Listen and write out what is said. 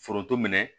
Foronto minɛ